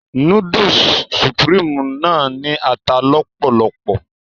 Núdúùsù Supreme náà ní ata lọ́pọ̀lopọ̀